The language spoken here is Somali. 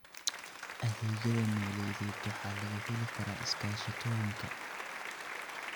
Adeegyada maaliyadeed waxaa laga heli karaa iskaashatooyinka.